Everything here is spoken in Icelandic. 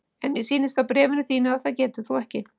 En mér sýnist á bréfinu þínu að það getir þú ekki.